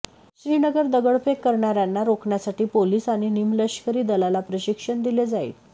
श्रीनगर दगडफेक करणाऱयांना रोखण्यासाठी पोलीस आणि निमलष्करी दलाला प्रशिक्षण दिले जाईल